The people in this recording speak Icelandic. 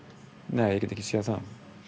nei ég get ekki séð það